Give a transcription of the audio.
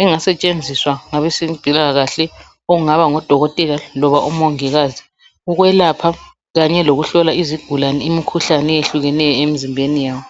engasetshenziswa ngabezempilakahle okungaba ngabodokotela loba omongikazi. Ukwelapha kanye lokuhlola izingulane imikhuhlane eyehlukeneyo emzimbeni yabo